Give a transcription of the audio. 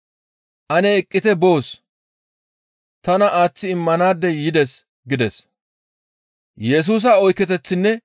Ane eqqite boos; tana aaththi immanaadey yides» gides.